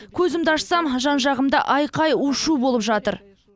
көзімді ашсам жан жағымда айқай у шу болып жатыр